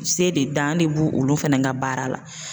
Se de dan de b'u olu fɛnɛ ka baara la